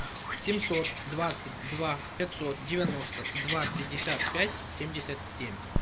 семьсот двадцать два пятьсот девяносто два пятьдесят пять семьдесят семь